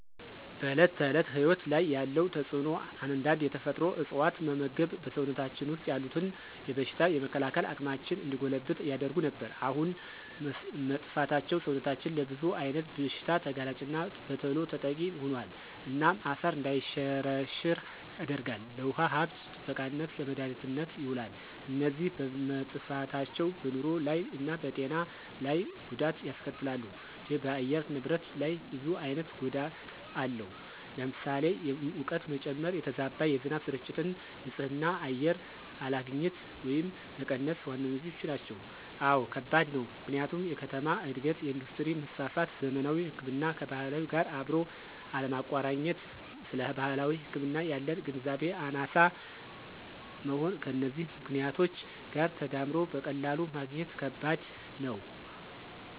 በዕለት ተዕለት ሕይወት ላይ ያለው ተጽእኖ አንዳንድ የተፈጥሮ እፅዋት መመግብ በሰውነታችን ወሰጥ ያሉትን የበሽታ የመከላከል አቅማችን እንዲጎለብት ያደርጉ ነበር። አሁን መጥፍታቸው ሰውነታችን ለብዙ አይነት ብሽታ ተጋላጭና በተሎ ተጠቂ ሆኖል። እናም አፈር እንዳይሸረሸራ ያደርጋል፣ ለውሃ ሀብት ጥበቃነት፣ ለመድሀኒትነት የውላሉ። እነዚ በመጠፍታቸው በንሮ ላይ እና በጤና ለይ ጎዳት ያስከትላሉ ደ በአየር ንብረት ላይ ብዙ አይነት ጎዳት አለው ለምሳሌ፦ የሙቀት መጨመ፣ የተዛባ የዝናብ ስርጭት፣ ን ፅህ አየር አለግኝት ወየም መቀነስ ዋነኛዎቹ ናቸው። አወ ከባድ ነው፦ ምክንያቱም የከተማ እድገት፣ የእንዱስትሪ መስፍፍት፣ ዘመናዊ ህክምናን ከባህላዊ ጋር አብሮ አለማቆረኘት ስለባህላዊ ህክምና ያለን ግንዛቤ አናሳ መሆን ከነዚህ ምክኔቶች ጋር ተዳምሮ በቀላሉ ማግኘት ከበድ ነው።